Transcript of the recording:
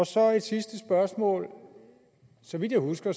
så et sidste spørgsmål så vidt jeg husker